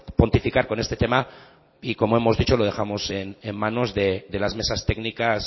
pontificar con este tema y como hemos dicho lo dejamos en manos de las mesas técnicas